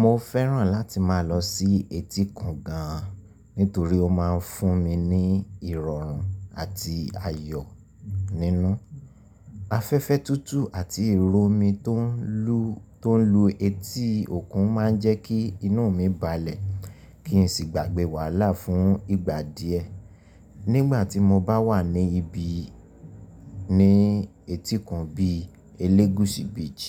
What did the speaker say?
Mo fẹ́ràn láti máa lọ sí etíkun gan an nítorí ó ma ń fún mi ní ìrọ̀rùn àti ayọ̀ nínú. Afẹ́fẹ́ tútù àti ìròmi tó ń lu etí òkun ma ń jẹ́ kí inú mi balẹ̀ kí n sì gbàgbẹ́ wàhálà fún ìgbà díẹ̀. Nígbà tí mo bá wà ní ibi ní etíkun bí i Elegusi Beach,